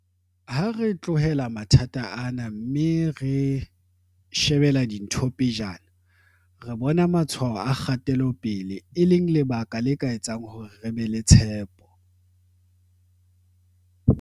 Ha re tlohela mathata ana, mme re shebela dintho pejana, re bona matshwao a kgatelo pele, e leng lebaka le ka etsang hore re be le tshepo.